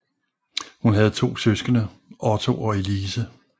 Hun havde to søskende Otto og Elise